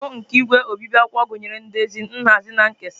Ọrụ nke igwe obibi akwụkwọ gụnyere ndezi, nhazi na nkesa.